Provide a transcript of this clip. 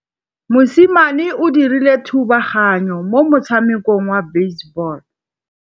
Mosimane o dirile thubaganyô mo motshamekong wa basebôlô.